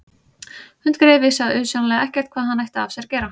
Hundgreyið vissi auðsjáanlega ekkert hvað hann ætti af sér að gera.